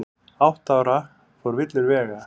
Átta ára fór villur vega